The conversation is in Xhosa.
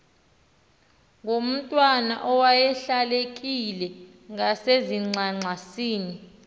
ngomntwana owayelahlekile ngasezingxangxasini